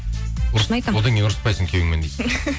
одан кейін ұрыспайсың күйеуіңмен дейді